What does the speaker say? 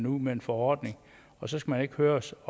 ud med en forordning og så skal man ikke høres